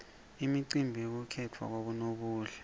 imicimbi yekukhetfwa kwabonobuhle